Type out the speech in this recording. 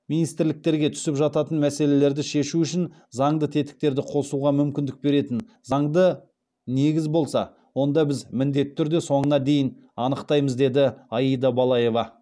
министрліктерге түсіп жататын мәселелерді шешу үшін заңды тетіктерді қосуға мүмкіндік беретін заңды негіз болса онда біз міндетті түрде соңына дейін анықтаймыз деді аида балаева